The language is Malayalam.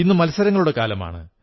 ഇന്ന് മത്സരങ്ങളുടെ കാലമാണ്